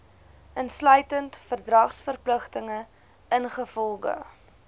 insluitend verdragsverpligtinge ingevolge